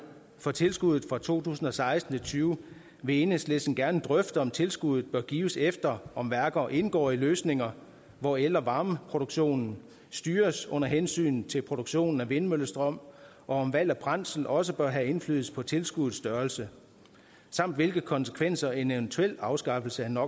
for tilskuddet fra to tusind og seksten og tyve vil enhedslisten gerne drøfte om tilskuddet bør gives efter om værker indgår i løsninger hvor el og varmeproduktionen styres under hensyn til produktionen af vindmøllestrøm og om valg af brændsler også bør have indflydelse på tilskuddets størrelse samt hvilke konsekvenser en eventuel afskaffelse